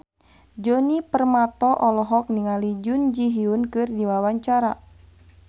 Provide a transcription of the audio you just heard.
Djoni Permato olohok ningali Jun Ji Hyun keur diwawancara